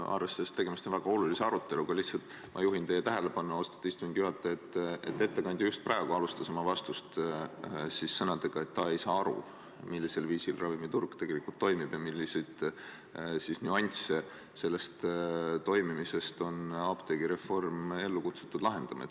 Arvestades, et tegemist on väga olulise aruteluga, ma lihtsalt juhin teie tähelepanu, austatud istungi juhataja, sellele, et ettekandja just praegu alustas oma vastust sõnadega, et ta ei saa aru, millisel viisil ravimiturg tegelikult toimib ja milliseid selle toimimise nüansse on apteegireform ellu kutsutud lahendama.